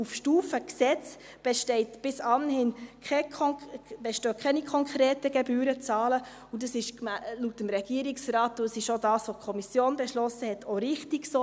Auf Stufe Gesetz bestehen bis anhin keine konkreten Gebührenzahlen, laut dem Regierungsrat, und das ist gemäss dem, was die Kommission beschlossen hat, auch richtig so.